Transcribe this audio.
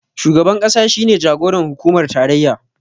Shugaban ƙasa shi ne jagoran hukumar tarayya